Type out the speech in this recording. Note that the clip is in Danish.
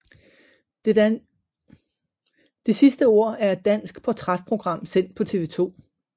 Det sidste ord er et dansk portrætprogram sendt på TV 2